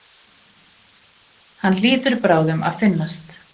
Hann hlýtur bráðum að finnast.